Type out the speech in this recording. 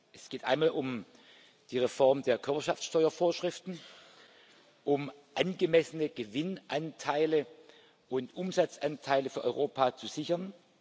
Es geht einmal um die Reform der Körperschaftsteuer Vorschriften, um angemessene Gewinnanteile und Umsatzanteile für Europa zu sichern.